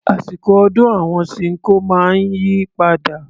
Àsìkọ̀ ọdún àwọn Ṣinkó máa ń yí padà.